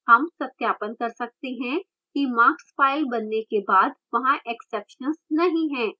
हम सत्यापन कर सकते हैं कि marks file बनने के बाद वहाँ exceptions नहीं हैं